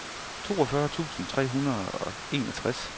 toogfyrre tusind tre hundrede og enogtres